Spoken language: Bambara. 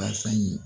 Basan ɲi